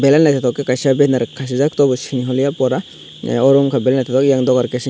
belai naitotok ke kaisa benner kasijak tobo sini holiya phora aro ungka belai naitokjak eyang dogar ke sign.